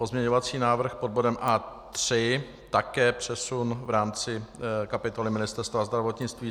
Pozměňovací návrh pod bodem A3, také přesun v rámci kapitoly Ministerstva zdravotnictví.